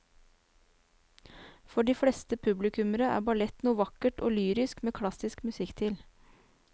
For de fleste publikummere er ballett noe vakkert og lyrisk med klassisk musikk til.